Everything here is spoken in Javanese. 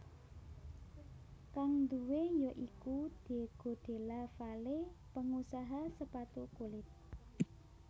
Kang duwé ya iku Diego Della Valle pengusaha sepatu kulit